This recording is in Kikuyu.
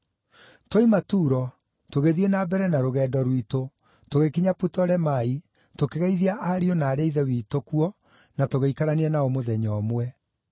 Twoima Turo, tũgĩthiĩ na mbere na rũgendo rwitũ, tũgĩkinya Putolemai, tũkĩgeithia ariũ na aarĩ a Ithe witũ kuo na tũgĩikarania nao mũthenya ũmwe.